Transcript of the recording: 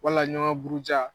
Walaɲɔgɔn buruja